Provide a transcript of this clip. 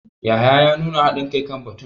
Yahaya ya nuna hadin kai kan batun.